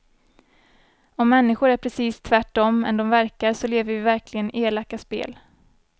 Om människor är precis tvärtom än de verkar så lever vi verkligen elaka spel.